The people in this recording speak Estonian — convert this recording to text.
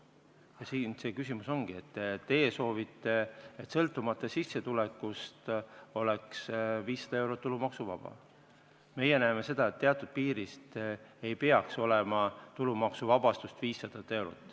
Siin see küsimus ongi, teie soovite, et sõltumata sissetulekust oleks 500 eurot tulumaksuvaba, meie näeme seda, et teatud piirist ei peaks olema tulumaksuvabastust 500 eurot.